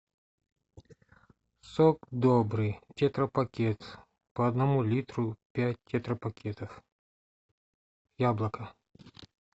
сок добрый тетрапакет по одному литру пять тетрапакетов яблоко